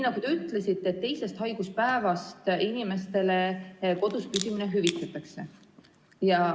Te ütlesite, et teisest haiguspäevast inimestele kodus püsimine hüvitatakse.